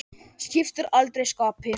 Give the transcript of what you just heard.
Skiptir aldrei skapi.